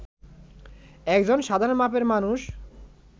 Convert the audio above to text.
একজন সাধারণ মাপের মানুষ